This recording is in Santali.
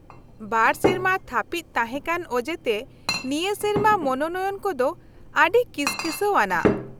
ᱵᱟᱨ ᱥᱮᱨᱢᱟ ᱛᱷᱟᱯᱤᱫ ᱛᱟᱦᱮᱸ ᱠᱟᱱ ᱚᱡᱮ ᱛᱮ ᱱᱤᱭᱟᱹ ᱥᱮᱨᱢᱟ ᱢᱚᱱᱚᱱᱚᱭᱚᱱ ᱠᱚᱫᱚ ᱟ.ᱰᱤ ᱠᱤᱥᱠᱤᱥᱟ.ᱣ ᱟᱱᱟᱜ ᱾